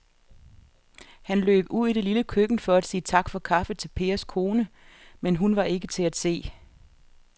Han løb ud i det lille køkken for at sige tak for kaffe til Pers kone, men hun var ikke til at se.